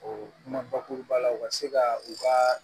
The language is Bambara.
O kuma bakuruba la u ka se ka u ka